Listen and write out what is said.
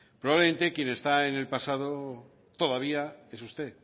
probablemente quien está en el pasado todavía es usted